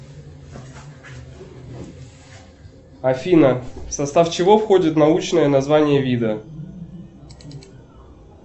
афина в состав чего входит научное название вида